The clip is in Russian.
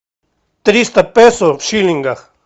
триста песо в шиллингах